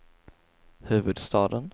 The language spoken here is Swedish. huvudstaden